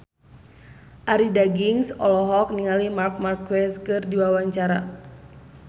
Arie Daginks olohok ningali Marc Marquez keur diwawancara